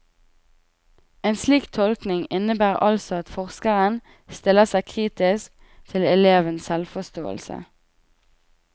En slik tolkning innebærer altså at forskeren stiller seg kritisk til elevens selvforståelse.